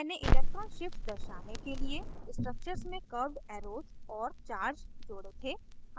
मैंने electron shifts दर्शाने के लिए structures में curved arrows और charges जोड़े थे